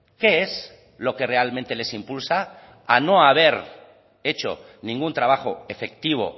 qué es lo que realmente les impulsa a no haber hecho ningún trabajo efectivo